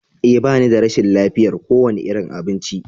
Ee, ba ni da rashin lafiyar kowane irin abinci.